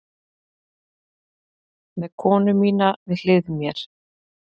Með konu mína við hlið mér.